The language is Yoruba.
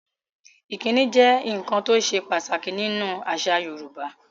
Ìkíni jẹ́ nkan tó sè pàtàkì ní nú àṣà Yorùbá